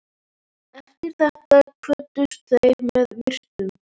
Eftir þetta kvöddust þeir með virktum.